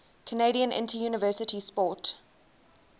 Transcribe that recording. canadian interuniversity sport